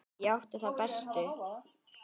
Ég átti þá bestu.